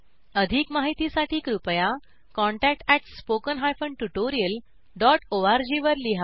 अधिक माहितीसाठी कृपया contactspoken tutorialorg वर लिहा